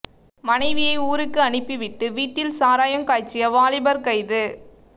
மனைவியை ஊருக்கு அனுப்பி விட்டு வீட்டில் சாராயம் காய்ச்சிய வாலிபர் கைது